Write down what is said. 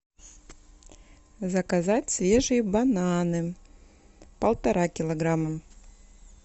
заказать свежие бананы полтора килограмма